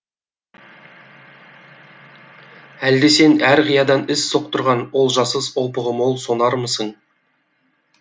әлде сен әр қиядан із соқтырған олжасыз опығы мол сонармысың